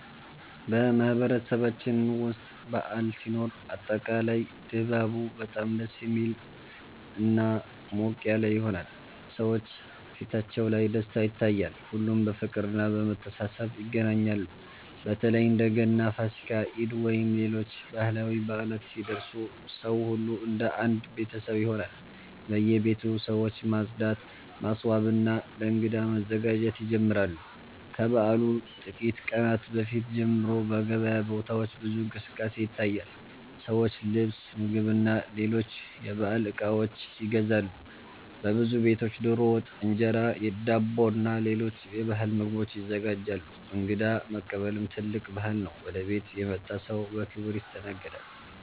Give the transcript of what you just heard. በማህበረሰባችን ውስጥ በዓል ሲኖር አጠቃላይ ድባቡ በጣም ደስ የሚልና ሞቅ ያለ ይሆናል። ሰዎች ፊታቸው ላይ ደስታ ይታያል፣ ሁሉም በፍቅርና በመተሳሰብ ይገናኛሉ። በተለይ እንደ ገና፣ ፋሲካ፣ ኢድ ወይም ሌሎች ባህላዊ በዓላት ሲደርሱ ሰው ሁሉ እንደ አንድ ቤተሰብ ይሆናል። በየቤቱ ሰዎች ማጽዳት፣ ማስዋብና ለእንግዳ መዘጋጀት ይጀምራሉ። ከበዓሉ ጥቂት ቀናት በፊት ጀምሮ በገበያ ቦታዎች ብዙ እንቅስቃሴ ይታያል፤ ሰዎች ልብስ፣ ምግብና ሌሎች የበዓል እቃዎች ይገዛሉ። በብዙ ቤቶች ዶሮ ወጥ፣ እንጀራ፣ ዳቦና ሌሎች የባህል ምግቦች ይዘጋጃሉ። እንግዳ መቀበልም ትልቅ ባህል ነው፤ ወደ ቤት የመጣ ሰው በክብር ይስተናገዳል።